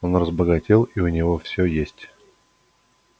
он разбогател и у него всё есть